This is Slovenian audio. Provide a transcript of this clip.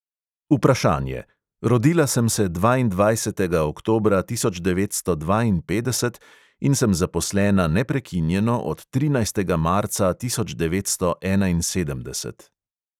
Vprašanje: rodila sem se dvaindvajsetega oktobra tisoč devetsto dvainpetdeset in sem zaposlena neprekinjeno od trinajstega marca tisoč devetsto enainsedemdeset.